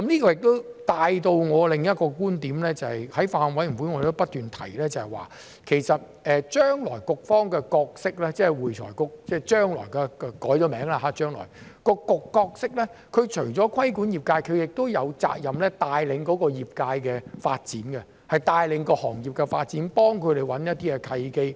這亦帶出我另一個觀點，在法案委員會，我們亦不斷提及，將來局方的角色，即將來改名後的會計及財務匯報局，除了規管業界，亦有責任帶領業界的發展，帶領行業的發展，幫他們找一些契機。